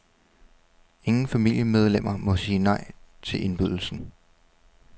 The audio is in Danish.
Ingen familiemedlemmer må sige nej til indbydelsen.